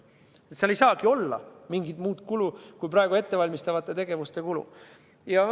Seal ei saagi olla mingit muud kulu kui praegu ette valmistatavate tegevuste kulu.